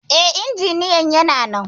E, injiniyan yana nan.